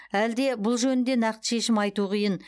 әлде бұл жөнінде нақты шешім айту қиын